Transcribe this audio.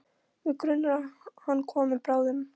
Mig grunar að hann komi bráðum.